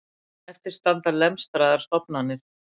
En eftir standa lemstraðar stofnanir